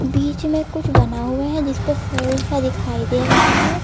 बीच में कुछ बना हुआ हैं जिसपे फूल सा दिखाई दे रहा है।